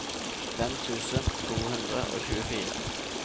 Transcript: fem tusen to hundre og tjuefire